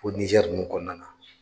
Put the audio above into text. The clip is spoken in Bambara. Ko fɔ Nijɛri ninnu kɔnɔna na.